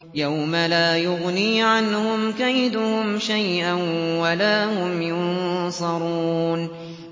يَوْمَ لَا يُغْنِي عَنْهُمْ كَيْدُهُمْ شَيْئًا وَلَا هُمْ يُنصَرُونَ